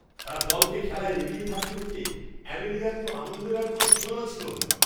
তার দলকে খেলায় এগিয়ে থাকতে দেখে অ্যামেলিয়ার তো আনন্দের আর কোনও সীমানা ছিল না।